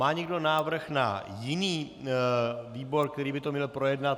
Má někdo návrh na jiný výbor, který by to měl projednat?